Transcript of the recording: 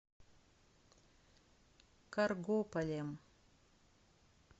каргополем